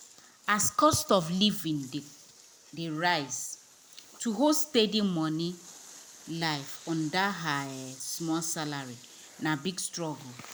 as cost of living dey rise to hold steady money life on that her um small salary na big struggle.